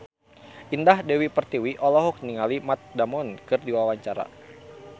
Indah Dewi Pertiwi olohok ningali Matt Damon keur diwawancara